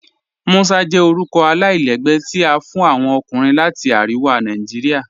Musa jẹ orúkọ alailẹgbẹ́ tí a fún awọn ọkùnrin láti Ariwa Naijiria.